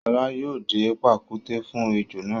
Ṣọlá yóò dẹ pàkúté fún ejò náà.